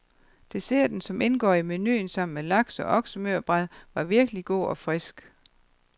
Desserten, som indgår i menuen sammen med laks og oksemørbrad, var virkelig god og frisk.